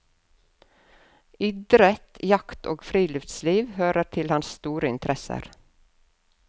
Idrett, jakt og friluftsliv hører til hans interesser.